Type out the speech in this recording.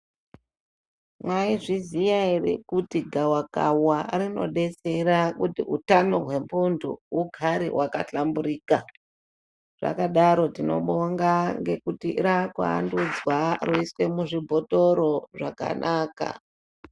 Maizviziya here kuti gawakawa rinodetsera kuti utano hwemuntu hugare hwakahlamburika. Zvakadaro tinobonga ngekuti raakuandudzwa roiswe muzvibhotoro zvakanaka.